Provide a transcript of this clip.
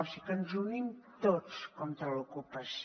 és a dir que ens unim tots contra l’ocupació